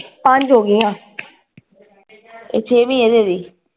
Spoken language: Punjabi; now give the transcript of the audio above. ਪੰਜ ਹੋ ਗਈਆ ਇਹ ਛੇਵੀ ਆ ਤੇਰੀ